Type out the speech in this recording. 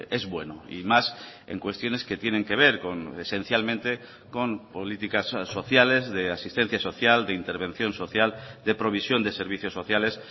es bueno y más en cuestiones que tienen que ver con esencialmente con políticas sociales de asistencia social de intervención social de provisión de servicios sociales